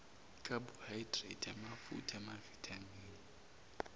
carbohydrate amafutha amavithamini